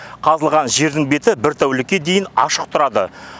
қазылған жердің беті бір тәулікке дейін ашық тұрады